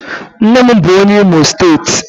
Nne m bu onye Imo steeti